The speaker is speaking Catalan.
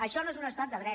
això no és un estat de dret